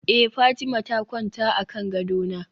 eh Fatima ta kwanta akan gadona